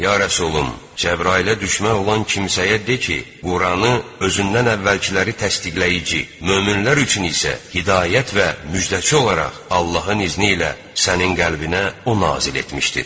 Ya Rəsulüm, Cəbrailə düşmən olan kimsəyə de ki, Quranı özündən əvvəlkiləri təsdiqləyici, möminlər üçün isə hidayət və müjdəçi olaraq Allahın izni ilə sənin qəlbinə o nazil etmişdir.